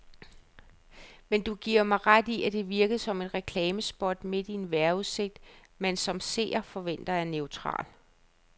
Men giver du mig ret i, at det virkede som et reklamespot midt i en vejrudsigt, man som seer forventer er neutral.